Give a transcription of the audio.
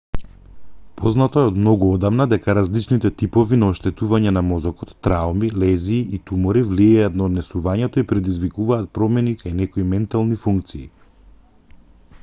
познато е од многу одамна дека различните типови на оштетување на мозокот трауми лезии и тумори влијаат на однесувањето и предизвикуваат промени кај некои ментални функции